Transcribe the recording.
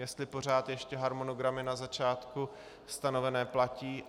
Jestli pořád ještě harmonogramy na začátku stanovené platí.